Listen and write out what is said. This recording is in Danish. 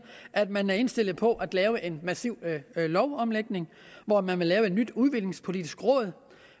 at man er indstillet på at lave en massiv lovomlægning hvor man vil lave et nyt udviklingspolitisk råd